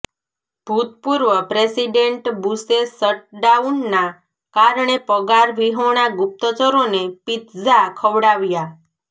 ભૂતપૂર્વ પ્રેસિડેન્ટ બુશે શટડાઉનના કારણે પગારવિહોણા ગુપ્તચરોને પિત્ઝા ખવડાવ્યા